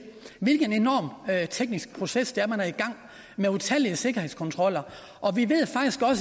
hvilken enorm teknisk proces der er i gang med utallige sikkerhedskontroller